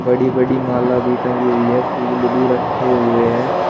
बड़ी बड़ी माला भी टंगी हुई है फूल भी रखे हुए हैं।